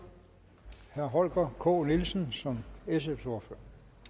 herre holger k nielsen som sfs ordfører